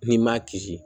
N'i ma kisi